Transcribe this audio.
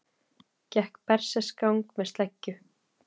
Gekk berserksgang með sleggju